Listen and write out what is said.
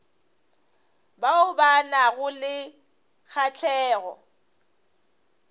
bao ba nago le kgahlego